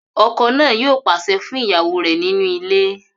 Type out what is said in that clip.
Ọkọ náà yóò pàṣẹ fún ìyàwó rẹ̀ nínú ilé